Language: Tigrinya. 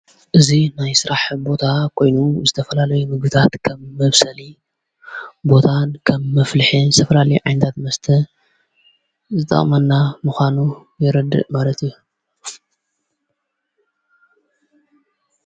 እዙይ ናይ ሥራሕ ቦታ ኾይኑ ዝተፈላለይ ምግታት ከምመብሰሊ እዩ ቦታን ከም መፍልሐ ሰፍራሊ ዓይንዳት መስተ ዝተማና ምዃኑ የረድእ መረትእዩ።